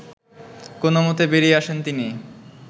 কোনমতে বেরিয়ে আসেন তিনি